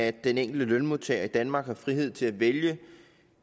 at den enkelte lønmodtager i danmark har frihed til at vælge